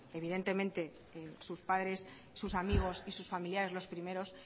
evidentemente que sus padres sus amigos y sus familiares los primero